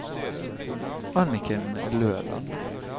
Anniken Løland